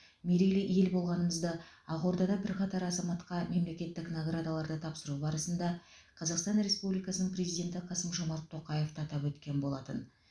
мерейлі ел болғанымызды ақордада бірқатар азаматқа мемлекеттік наградаларды тапсыру барысында қазақстан республикасының президенті қасым жомарт тоқаев та атап өткен болатын